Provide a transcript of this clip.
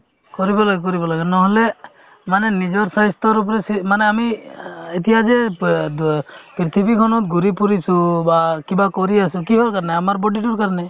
কৰিব লাগে কৰিব লাগে নহ'লে মানে নিজৰ স্বাস্থ্যৰ ওপৰত চি মানে আমি অ এতিয়া যে প অ দ্য পৃথিৱীখনত ঘূৰি ফুৰিছো বা কিবা কৰি আছো কিহৰ কাৰণে আমাৰ body তোৰ কাৰণে